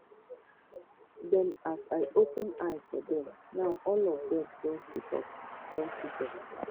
dem as i open eye for dem now all of dem don situp don situp